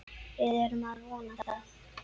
Við erum að vona það.